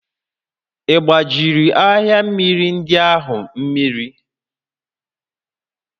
Ị gbajiri arịa mmịrị ndị ahụ mmiri?